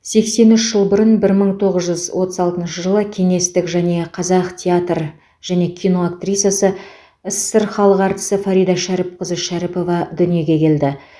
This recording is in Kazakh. сексен үш жыл бұрын бір мың тоғыз жүз отыз алтыншы жылы кеңестік және қазақ театр және кино актрисасы ссср халық әртісі фарида шәріпқызы шәріпова дүниеге келді